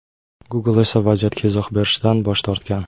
Google esa vaziyatga izoh berishdan bosh tortgan.